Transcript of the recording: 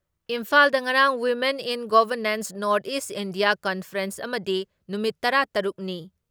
ꯏꯝꯐꯥꯥꯜꯗ ꯉꯔꯥꯡ women in governance north east India conference ꯑꯃꯗꯤ ꯅꯨꯃꯤꯠ ꯇꯔꯥ ꯇꯔꯨꯛ ꯅꯤ